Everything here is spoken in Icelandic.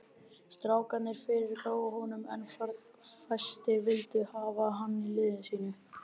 Strákarnir fyrirgáfu honum en fæstir vildu hafa hann í liði sínu.